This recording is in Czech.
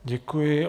Děkuji.